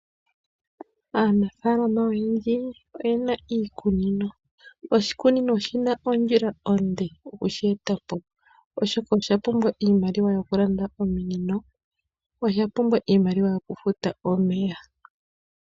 Aanafaalama oyendji oyena iikunino . Oshikunino oshina ondjila onde okushi etapo , oshoka oshapumbwa iimaliwa yokulanda ominino niimaliwa yokufuta omeya.